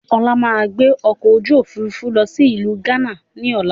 Ọlá máa gbé ọkọ̀ ojú Òfurufú lọ sí ìlú gánà ni ọ̀la